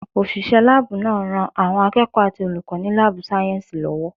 Òṣìṣẹ́ láàbù náà ń ran àwọn akẹ́kọ̀ọ́ àti olùkọ́ ní láàbù sáyẹ̀nsì lọ́wọ́